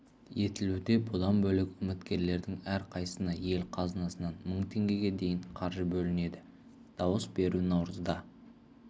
етілуде бұдан бөлек үміткерлердің әрқайсысына ел қазынасынан мың теңгеге дейін қаржы бөлінеді дауыс беру наурызда